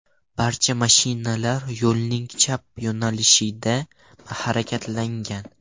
Barcha mashinalar yo‘lning chap yo‘nalishida harakatlangan.